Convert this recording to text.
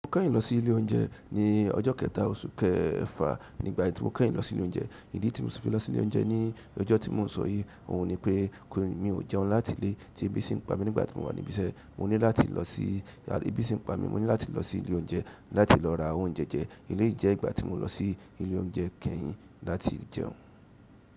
Mo kẹ́yin lọ sí ilé oúnjẹ ní ọjọ́ kẹta oṣù kẹfà. Nígbà tí mo kẹ́yin lọ sí ilé oúnjẹ, ìdí tí mo se fi lọ sí ilé oúnjẹ ní ọjọ́ tí mò ń sọ yìí, òun ni pé mi o jẹun láti ilé tí ebi si n pa mí nígbà tí mo wà níbí iṣẹ́. Mo ní láti lọ sí ebi tí n pa mí, mo ní láti lọ sí ilé oúnjẹ láti lọ ra oúnjẹ jẹ. Eleyí jẹ́ ìgbà tí mo lọ sí ilé oúnjẹ kẹ́yin láti jẹun.